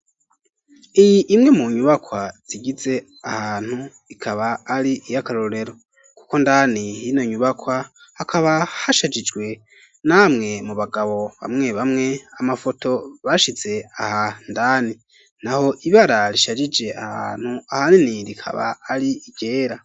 Iyi imwe mu nyubakwa zigize aha hantu ikaba ari iyakarorero kuko ndani hino nyubakwa hakaba hashajijwe namwe mu bagabo bamwe bamwe amafoto bashize aha ndani naho ibara rishajije aha hantu ahanini rikaba ari iryera